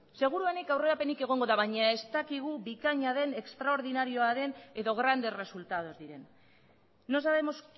seguruenik aurrerapenik egongo da baina ez dakigu bikaina den estraordinarioa den edo grandes resultados diren no sabemos